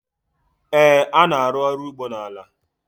a na-arụ ọrụ ugbo na ala